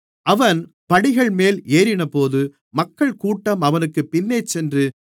அவன் படிகள்மேல் ஏறினபோது மக்கள்கூட்டம் அவனுக்கு பின்னேசென்று